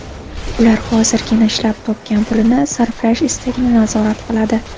Ular hozirgina ishlab topgan pulini sarflash istagini nazorat qiladi.